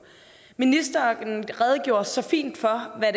ministeren redegjorde så fint for hvad